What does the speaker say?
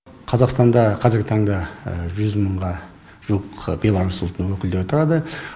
қазақстанда қазіргі таңда жүз мыңға жуық беларус ұлтының өкілдері тұрады